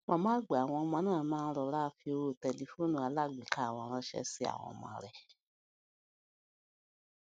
màmá àwọn ọmọ náà máa ń rọra fi owó tẹlifóònù alágbèéká wọn ránṣé sí àwọn ọmọ rè